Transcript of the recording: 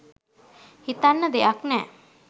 හිතන්න දෙයක් නෑ